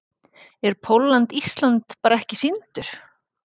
Er Pólland-Ísland bara ekki sýndur?